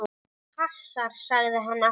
Þetta passar, sagði hann alltaf.